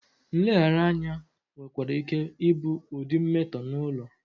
Nleghara anya nwekwara ike ịbụ ụdị mmetọ n'ụlọ.